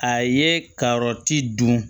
A ye ka yɔrɔ ti dun